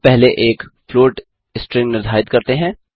हम पहले एक फ्लॉट स्ट्रिंग निर्धारित करते हैं